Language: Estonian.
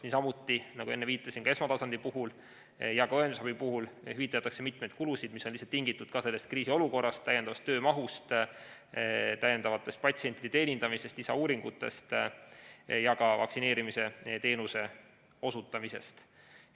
Niisamuti, nagu enne viitasin, ka esmatasandi ja õendusabi puhul hüvitatakse mitmeid kulusid, mis on lihtsalt tingitud sellest kriisiolukorrast, täiendavast töömahust, täiendavast patsientide teenindamisest, lisauuringutest ja ka vaktsineerimisteenuse osutamisest.